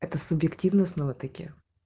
это субъективно снова таки